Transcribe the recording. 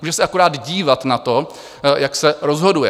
Může se akorát dívat na to, jak se rozhoduje.